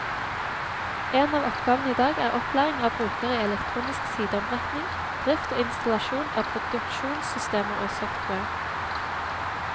En av oppgavene i dag er opplæring av brukere i elektronisk sideombrekking, drift og installasjon av produksjonssystemer og software.